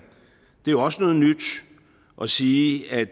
det er jo også noget nyt at sige at